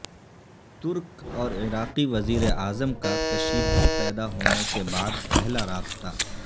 ترک اور عراقی وزیر اعظم کا کشیدگی پیدا ہونے کے بعد پہلا رابطہ